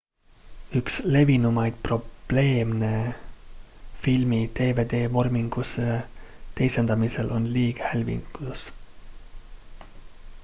üks levinumaid probleeme filmi dvd-vormingusse teisendamisel on liighälvitus